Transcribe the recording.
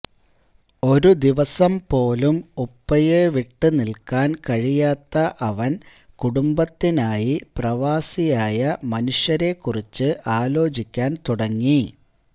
ഒരു ദിവസം പോലും ഉപ്പയെ വിട്ട് നിൽക്കാൻ കഴിയാത്ത അവൻ കുടുംബത്തിനായി പ്രവാസിയായ മനുഷ്യരെ കുറിച്ച് ആലോചിക്കാൻ തുടങ്ങി